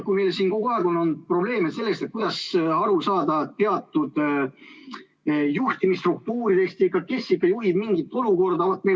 Meil on siin kogu aeg olnud probleem selles, kuidas aru saada teatud juhtimisstruktuurist, et kes ikkagi juhib mingit olukorda.